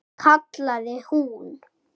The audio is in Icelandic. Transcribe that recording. kallaði hún.